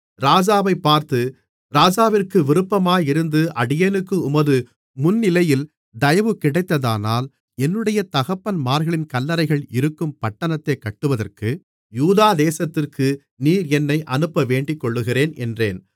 ராஜாவைப் பார்த்து ராஜாவிற்கு விருப்பமாயிருந்து அடியேனுக்கு உமது முன்னிலையில் தயவு கிடைத்ததானால் என்னுடைய தகப்பன்மார்களின் கல்லறைகள் இருக்கும் பட்டணத்தைக் கட்டுவதற்கு யூதா தேசத்திற்கு நீர் என்னை அனுப்ப வேண்டிக்கொள்ளுகிறேன் என்றேன்